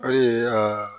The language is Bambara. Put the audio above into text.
Hali aa